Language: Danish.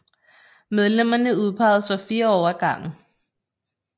Medlemmerne udpeges for 4 år ad gangen